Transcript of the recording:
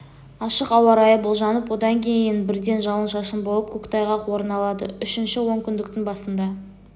ашық ауа райы болжанып одан кейін бірден жауын-шашын болып көктайғақ орын алады үшінші онкүндіктің басында